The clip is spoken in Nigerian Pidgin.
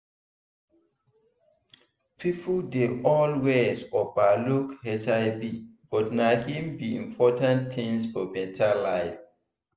people dey always over look hivbut na hin be important thing for better life